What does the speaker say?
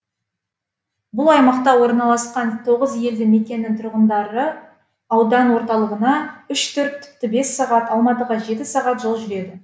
бұл аймақта орналасқан тоғыз елді мекеннің тұрғындары аудан орталығына үш төрт тіпті бес сағат алматыға жеті сағат жол жүреді